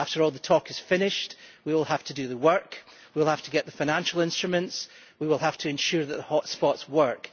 After all the talk is finished, we will have to do the work, we will have to get the financial instruments and we will have to ensure that the hotspots work.